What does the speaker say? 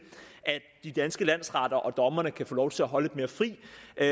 at de danske landsretter og dommerne kan få lov til at holde mere fri